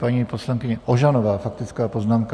Paní poslankyně Ožanová, faktická poznámka.